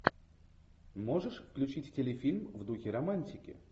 можешь включить телефильм в духе романтики